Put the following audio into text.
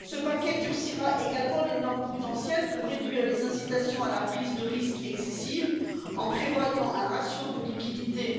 Ce paquet durcira également les normes prudentielles pour réduire les incitations à la prise de risque excessive en prévoyant un ratio de liquidité